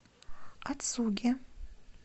ацуги